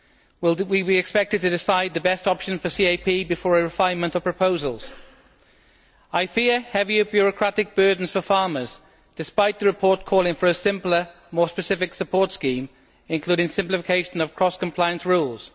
Will we be expected to decide the best option for the CAP before a refinement of proposals? I fear heavier bureaucratic burdens for farmers, despite the report calling for a simpler, more specific support scheme including simplification of cross compliance rules.